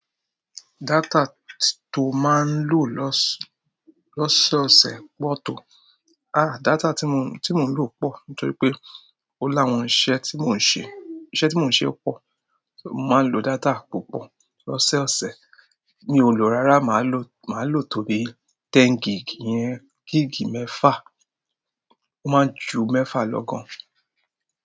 Data to maa n lo lọ́ s lọ́sọ̀ọ̀sẹ̀ pọ̀ tó. À, data tí mo, tí mò ń lo pọ̀ nítorí pé ó láwọn iṣẹ́ tí mò ń ṣe, iṣẹ́ tí mò ń ṣe pọ̀. Mo máa ń lo data púpọ̀ lọ́sẹ̀ ọ̀sẹ̀. Mi ò lò rárá, màá lo, màá lò tó bí tẹ́n gig yẹn, gig mẹ́fà. Ó máa ń ju mẹ́fà lọ gan.